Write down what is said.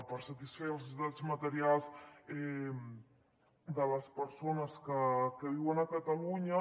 per satisfer les necessitats materials de les persones que viuen a catalunya